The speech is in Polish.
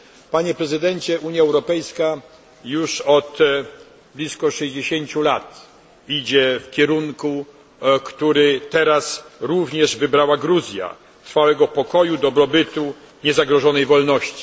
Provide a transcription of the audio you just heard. Panie Prezydencie, Unia Europejska już od blisko sześćdziesięciu lat idzie w kierunku, który teraz również wybrała Gruzja trwałego pokoju, dobrobytu, niezagrożonej wolności.